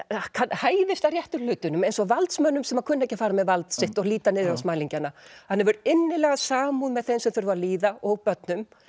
hæðist að réttu hlutunum eins og valdsmönnum sem kunna ekki að fara með vald sitt og líta niður á smælingjana hann hefur innilega samúð með þeim sem þurfa að líða og börnum